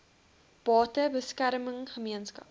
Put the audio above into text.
bate beskerming gemeenskaps